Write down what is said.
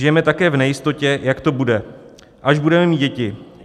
Žijeme také v nejistotě, jak to bude, až budeme mít děti.